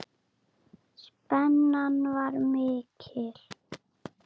Spennan var mikil.